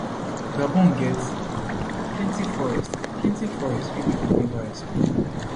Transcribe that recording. gabon get plenti forests plenti forests wey pipo neva explore